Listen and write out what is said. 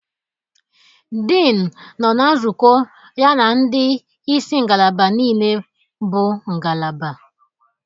Dean nọ na nzukọ ya na ndị isi ngalaba niile bụ ngalaba